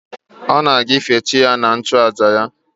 Ọ na-aga ife chi ya na nchụàjà ya